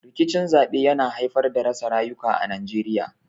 Rikicin zaɓe yana haifar da rasa rayuka a Najeriya.